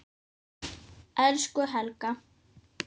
Elsku Helga.